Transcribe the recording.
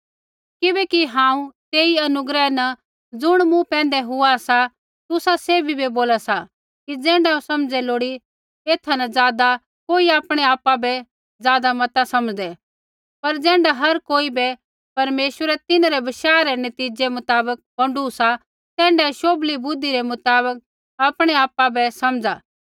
किबैकि हांऊँ तेई अनुग्रह न ज़ुण मूँ पैंधै हुआ सा तुसा सैभी बै बोला सा कि ज़ैण्ढा समझे लोड़ी एथा न ज़ादा कोई आपणै आपा बै ज़ादा मता समझदे पर ज़ैण्ढा हर कोई बै परमेश्वरै तिन्हरै बशाह रै नतीज़ै मुताबक बौंडू सा तैण्ढाऐ शोभली बुद्धि रै मुताबक आपणैआपा बै समझा